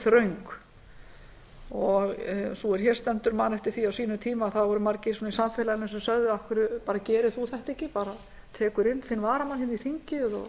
þröng og sú er hér stendur man eftir því á sínum tíma að það voru margir í samfélaginu sem sögðu af hverju gerir þú þetta ekki tekur bara inn þinn varamann inn í þingið og